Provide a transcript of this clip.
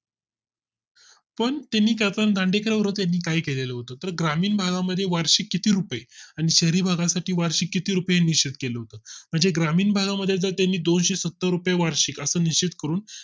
पण त्यांनी दांडेकर काळात काही केलेलं होतं तर ग्रामीण भागा मध्ये वार्षिक किती रुपये आणि शहरी भागा साठी वार्षिक किती रुपये निश्चित केला होता म्हणजे ग्रामीण भागा मध्ये जर तुम्ही दोनशे सत्तर रुपये वार्षिक असं निश्चित करून